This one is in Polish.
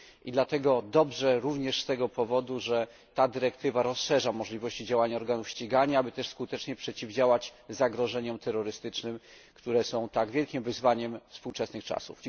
Dlatego dobrze również z tego powodu, że niniejsza dyrektywa rozszerza możliwości działania organów ścigania, aby skutecznie przeciwdziałać zagrożeniom terrorystycznym, które są tak wielkim wyzwaniem współczesnych czasów.